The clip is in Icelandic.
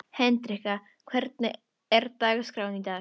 Hendrikka, hvernig er dagskráin í dag?